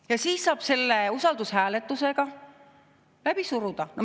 Ja siis saab selle usaldushääletusega läbi suruda.